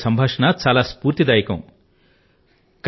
కనిగా తో సంభాషణ ఎంతో స్ఫూర్తిదాయకంగా ఉంది